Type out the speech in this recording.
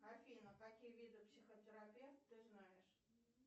афина какие виды психотерапевт ты знаешь